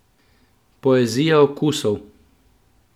Poezija okusov!